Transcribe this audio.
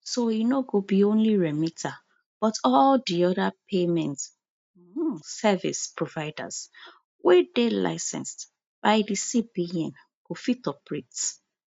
so e no go be only remita but all di oda payment um service providers wey dey licensed by di cbn go fit operate